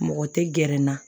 Mɔgɔ tɛ gɛrɛ n na